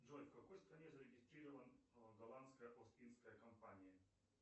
джой в какой стране зарегистрирован голландская ост индская компания